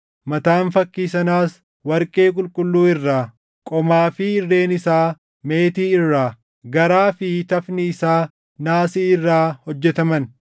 Mataan fakkii sanaas warqee qulqulluu irraa, qomaa fi irreen isaa meetii irraa, garaa fi tafni isaa naasii irraa hojjetaman;